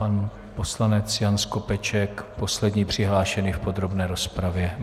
Pan poslanec Jan Skopeček, poslední přihlášený v podrobné rozpravě.